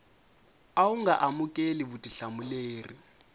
a wu nga amukeli vutihlamuleri